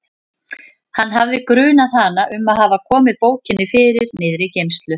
Hann hafði grunað hana um að hafa komið bókinni fyrir niðri í geymslu.